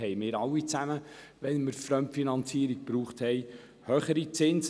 Wir alle zahlten höhere Zinsen, wenn wir auf Fremdfinanzierungen zurückgriffen.